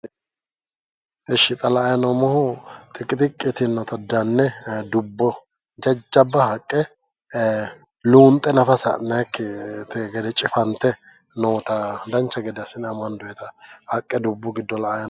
Ishi xa la'ayi noommohu xiqi xiqqi yitinota danne dubbo jajjabba haqqe luunxe nafa sa'nayikkite gede cifante noota dancha gede assine amandoyita haqqe dubbu giddo la'ayi noommo